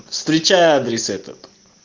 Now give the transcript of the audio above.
встречай адрес этот